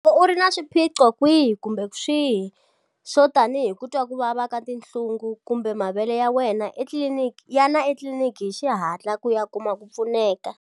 Loko u ri na swiphiqo swihi kumbe swihi swo tanihi ku twa ku vava ka tinhlungu kumbe mavele yana etliliniki hi xihatla ku ya kuma ku pfuneka.